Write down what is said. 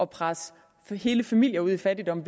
pressede hele familier ud i fattigdom